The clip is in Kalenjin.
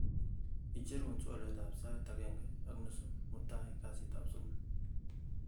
icherun twolyot ab sait agenge ak nusu mutai kasit ab somok